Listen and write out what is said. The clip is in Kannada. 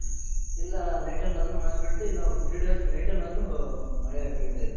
ಇಲ್ಲ night ಅಲ್ಲಾದ್ರು ಮಳೆ ಬೀಳುತ್ತೆ ಇಲ್ಲ ಒಂದ್ three days night ಅಲ್ಲಾದ್ರು ಮಳೆ ಬೀಳ್ತಾ ಇದೆ.